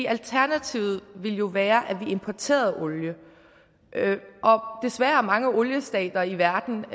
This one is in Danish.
alternativet ville jo være at vi importerede olie og desværre er mange oliestater i verden